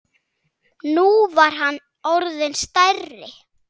Nú var hann orðinn stærri.